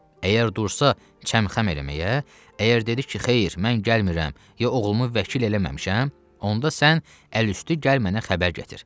Əgər dursa çəmxəm eləməyə, əgər dedi ki, xeyir, mən gəlmirəm, ya oğlumu vəkil eləməmişəm, onda sən əlüstü gəl mənə xəbər gətir.